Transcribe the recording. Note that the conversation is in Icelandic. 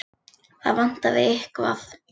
Það vantaði eitthvað.